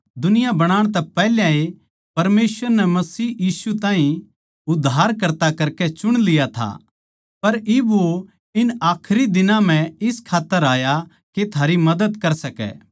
दुनिया बणाण तै पैहल्याए परमेसवर नै मसीह यीशु ताहीं उद्धारकर्ता करकै चुन लिया था पर इब वो इन आखरी दिनां म्ह इस खात्तर आया के थारी मदद कर सकै